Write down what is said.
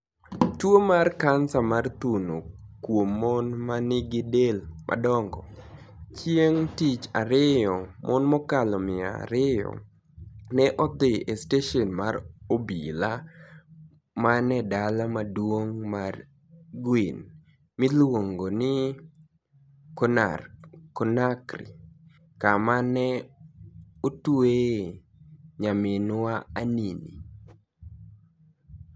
Tuwo mar kanisa mar thuno kuom mon ma nigi del madongo .Chieng ' Tich Ariyo, mon mokalo mia ariyo ne odhi e steshen mar obila manie dala maduong ' mar Guini miluongo ni Conakry, kama ni e otweye nyaminwa Anini.